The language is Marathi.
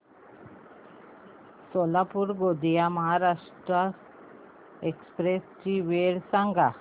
सोलापूर गोंदिया महाराष्ट्र एक्स्प्रेस ची वेळ सांगा